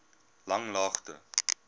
langlaagte